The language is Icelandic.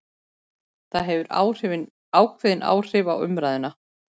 Það hefur ákveðin áhrif á umræðuna